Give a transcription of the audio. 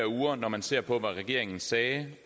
uger når man ser på hvad regeringen sagde